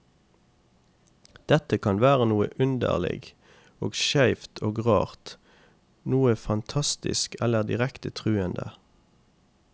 Dette kan være noe underlig og skeivt og rart, noe fantastisk eller direkte truende.